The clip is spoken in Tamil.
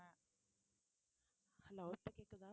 hello இப்போ கேக்குதா